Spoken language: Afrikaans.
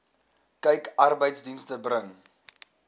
kyk arbeidsdienste bring